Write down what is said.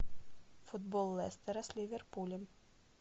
футбол лестера с ливерпулем